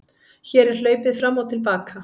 Hér er hlaupið fram og til baka.